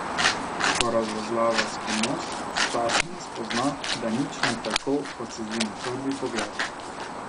Ko razvozlava skrivnost, sčasoma spozna, da nič ni tako, kot se zdi na prvi pogled.